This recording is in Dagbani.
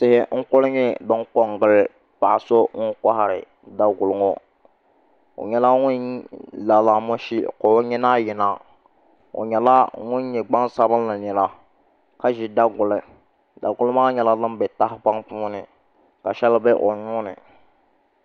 Tihi n ku nyɛ din ko n gili paɣa so ŋun kohari Daguli ŋo o nyɛla ŋun la la mushi ka o nyina yina o nyɛla ŋun nyɛ gbaŋsabinli nira ka ʒi daguli daguli maa nyɛla din bɛ tahapoŋ puuni ka shɛli bɛ o nuuni